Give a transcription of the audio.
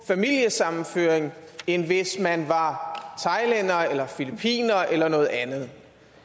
familiesammenføring end hvis man var thailænder eller filippiner eller noget andet det